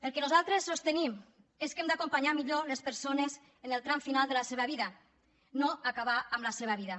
el que nosaltres sostenim és que hem d’acompanyar millor les persones en el tram final de la seva vida no acabar amb la seva vida